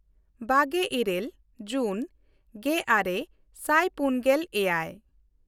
ᱵᱟᱜᱮᱼᱤᱨᱟᱹᱞ ᱡᱩᱱᱜᱮᱼᱟᱨᱮ ᱥᱟᱭ ᱯᱩᱱᱜᱮᱞ ᱮᱭᱟᱭ